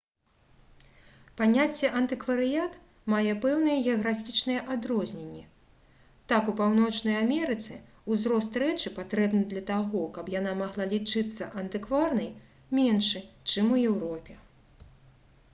паняцце «антыкварыят» мае пэўныя геаграфічныя адрозненні. так у паўночнай амерыцы ўзрост рэчы патрэбны для таго каб яна магла лічыцца антыкварнай меншы чым у еўропе